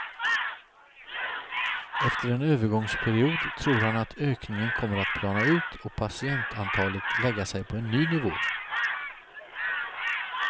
Efter en övergångsperiod tror han att ökningen kommer att plana ut och patientantalet lägga sig på en ny nivå.